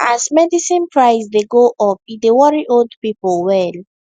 as medicine price dey go up e dey worry old people well